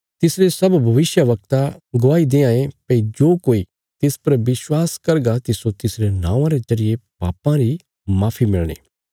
तिसरे सब भविष्यवक्ता गवाही देआंये भई जो कोई तिस पर विश्वास करगा तिस्सो तिसरे नौआं रे जरिये पापां री माफी मिलणी